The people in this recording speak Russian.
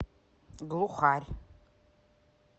глухарь